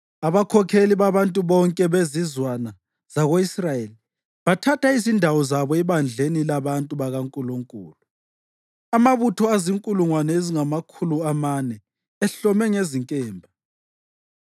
Abakhokheli babantu bonke bezizwana zako-Israyeli bathatha izindawo zabo ebandleni labantu bakaNkulunkulu, amabutho azinkulungwane ezingamakhulu amane ehlome ngezinkemba.